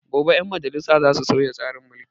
Gobe 'ƴan majalisa za su sauya tsarin mulki.